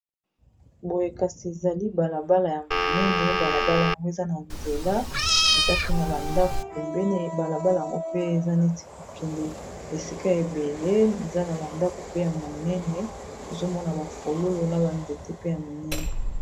Boye kasi ezali balabala ya monene balabala yango eza na nzela eza pe na ba ndako pembeni balabala yango pe eza neti kokende esika ebele eza na ba ndako pe ya monene ozomona ba fololo na ba nzete pe ya minene.